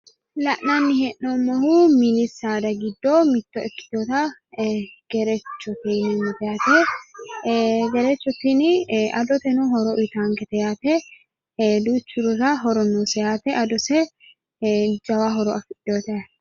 La'nanni hee'noommohu mini saada giddo mitte ikkitinota gerechote yaate. Gerecho tini adoteno horo uyitaankete yaate. Duuchurira horo noose yaate. Adose jawa horo afidjiwote yaate.